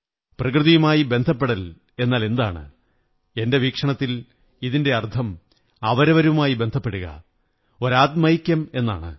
പ്രകൃതിയുമായി ബന്ധപ്പെടൽ എന്നാലെന്താണ് എന്റെ വീക്ഷണത്തിൽ ഇതിന്റെ അര്ഥംെ അവരവരുമായി ബന്ധപ്പെടുക ഒരു ആത്മൈക്യം എന്നതാണ്